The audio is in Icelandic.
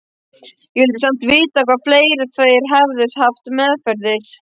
Ég vildi samt vita hvað fleira þeir hefðu haft meðferðis.